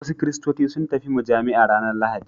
Wasu kiristoci sun tafi mujami'a ranar Lahadi.